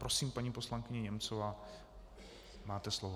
Prosím, paní poslankyně Němcová, máte slovo.